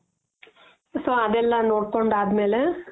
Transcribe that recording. so ಅದೆಲ್ಲ ನೋಡ್ಕೊಂಡು ಆದ್ಮೇಲೆ ಮೇಲೆ